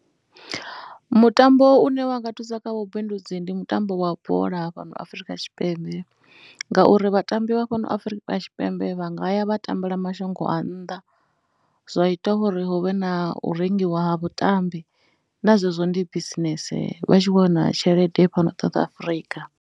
Mutambo une wa nga thusa kha vhubindudzi ndi mutambo wa bola fhano Afrika Tshipembe ngauri vhatambi vha fhano Afrika Tshipembe vha nga ya vha tambela mashango a nnḓa zwa ita uri hu vhe na u rengiwa ha vhatambi na zwezwo ndi bisinese, vha tshi khou wana tshelede fhano ṱoḓa South Afrika.